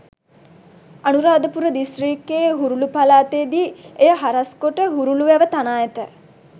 අනුරාධපුර දිස්ත්‍රික්කයේ හුරුලු පළාතේ දී එය හරස් කොට හුරුලු වැව තනා ඇත.